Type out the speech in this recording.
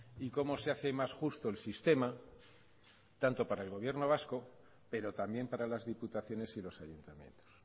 y cómo se hace más justo el sistema tanto para el gobierno vasco pero también para las diputaciones y los ayuntamientos